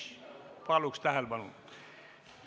Paluks tähelepanu!